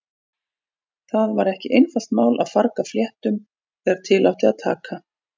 Það var ekki einfalt mál að farga fléttum þegar til átti að taka.